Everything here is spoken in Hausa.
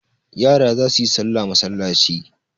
yara za su sallah masallaci